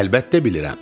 Əlbəttə bilirəm.